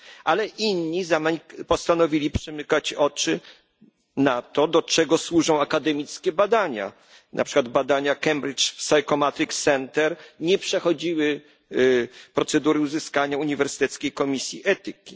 Ale inni postanowili przymykać oczy na to, do czego służą akademickie badania na przykład badania Cambridge Psychometrics Centre nie przechodziły procedury uzyskania zgody Uniwersyteckiej Komisji Etyki.